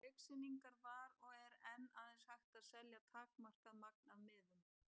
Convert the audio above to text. En á leiksýningar var og er enn aðeins hægt að selja takmarkað magn af miðum.